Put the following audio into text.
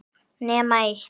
Nema eitt.